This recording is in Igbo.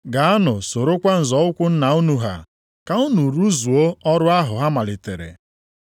Gaanụ sorokwa nzọ ụkwụ nna unu ha, ka unu rụzuo ọrụ ahụ ha malitere.